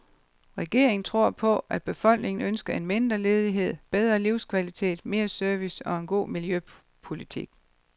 Regeringen tror på, at befolkningen ønsker en mindre ledighed, bedrer livskvalitet, mere service og en god miljøpolitik.